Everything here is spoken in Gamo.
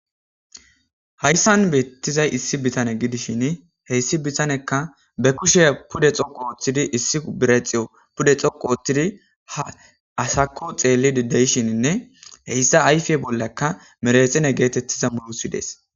hayssan beettizay issi bitane gidishin heyssi bitanekka be kushe pude xoqo ooththidi issi birexiyo pude xoqo ooththidi ha asakko xeelli dideyshininne heyssa ayfe bollakka merexene geetettiza molosi dees